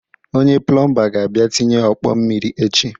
Onye plụmba ga-abịa tịnye ọkpọ mmiri echi